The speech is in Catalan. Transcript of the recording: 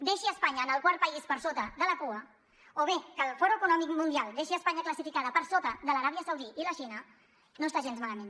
deixi espanya en el quart país per sota a la cua o bé que el fòrum econòmic mundial deixi espanya classificada per sota de l’aràbia saudita i la xina no està gens malament